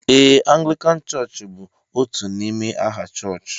Ee, Anglican church bú otú n'ime aha chọchị